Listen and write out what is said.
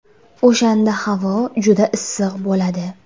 O‘shanda havo juda issiq bo‘ladi.